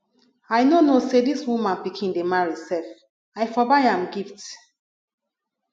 i no know say dis woman pikin dey marry sef i for buy am gift